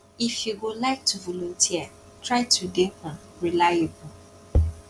if you go like to volunteer try to dey um reliable